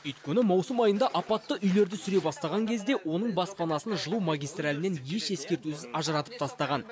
өйткені маусым айында апатты үйлерді сүре бастаған кезде оның баспанасын жылу магистралінен еш ескертусіз ажыратып тастаған